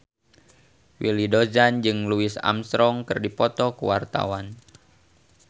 Willy Dozan jeung Louis Armstrong keur dipoto ku wartawan